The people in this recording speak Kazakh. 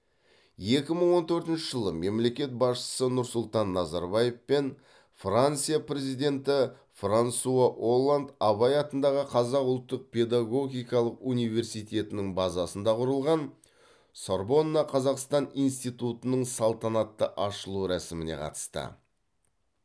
екі мың он төртінші жылы мемлекет басшысы нұрсұлтан назарбаев пен франция президенті франсуа олланд абай атындағы қазақ ұлттық педагогикалық университетінің базасында құрылған сорбонна қазақстан институтының салтанатты ашылу рәсіміне қатысты